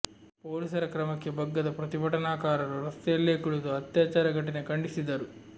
ಪೊಲೀಸರ ಕ್ರಮಕ್ಕೆ ಬಗ್ಗದ ಪ್ರತಿಭಟನಾಕಾರರು ರಸ್ತೆಯಲ್ಲೇ ಕುಳಿತು ಅತ್ಯಾಚಾರ ಘಟನೆ ಖಂಡಿಸಿದರು